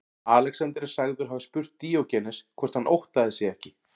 Alexander er sagður hafa spurt Díógenes hvort hann óttaðist sig ekki.